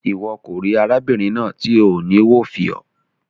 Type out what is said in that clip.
Iwọ ko ri arábìnrin náà ti o ni wo fiọ.